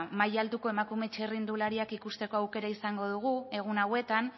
maila altuko emakume txirrindulariak ikusteko aukera izango dugu egun hauetan